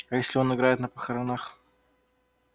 а если он играет на похоронах